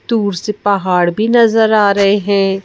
दूर से पहाड़ भी नज़र आ रहे हैं।